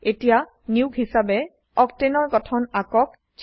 এতিয়া নিয়োগ হিচাবে অক্টেন অক্টেন এৰ গঠন আকক